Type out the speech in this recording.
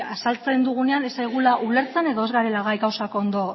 azaltzen dugunean ez zaigula ulertzen edo ez garela gai gauzak ondo